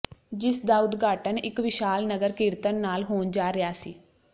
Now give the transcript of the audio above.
ਜਿਸ ਦਾ ਉਦਘਾਟਨ ਇੱਕ ਵਿਸ਼ਾਲ ਨਗਰ ਕੀਰਤਣ ਨਾਲ ਹੋਣ ਜਾ ਰਿਹਾ ਸੀ